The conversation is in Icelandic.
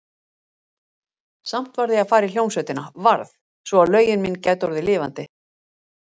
Samt varð ég að fara í hljómsveitina, varð, svo að lögin mín gætu orðið lifandi.